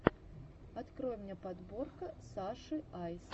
открой мне подборка саши айс